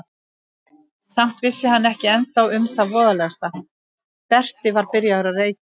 Samt vissi hann ekki ennþá um það voðalegasta: Berti var byrjaður að reykja.